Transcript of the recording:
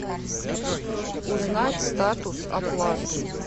узнать статус оплаты